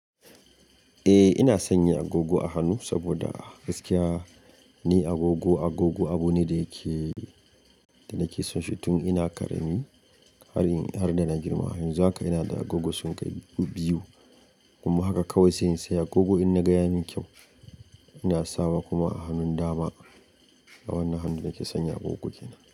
Eh ina sanya agogo a hannu saboda gaskiya ni agogo, agogo abu ne da yake, da nake son shi tun ina ƙarami har in har da na girma. Yanzu haka ina da agogo sun kai biyu kuma haka kawai sai in saya agogo in na ga yamin kyau ina sawa kuma a hannun dama a wannan hannun nake sanya agogo kenan.